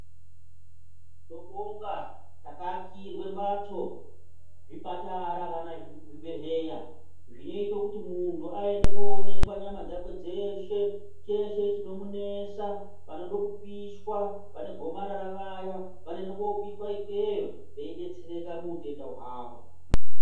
Tinobonga takaakirwa mbatso zvipatara kana zvibhehlera zvinoita kuti munhu aende kunoonekwa nyama dzakwe dzeshe chese chinomunesa panoda kupishwa vane gomarara vaya vanoendwa kopishwa ikweyo veibestereka muutenda hwawo